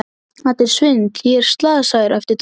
Þetta er svindl, ég er slasaður! æpti Dóri.